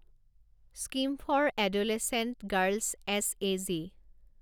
scheme for adolescent girls S A G